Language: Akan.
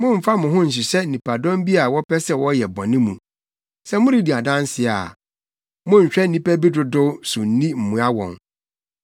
“Mommfa wo ho nhyehyɛ nnipadɔm bi a wɔpɛ sɛ wɔyɛ bɔne mu. Sɛ moredi adanse a, monnhwɛ nnipa bi dodow so nni mmoa wɔn,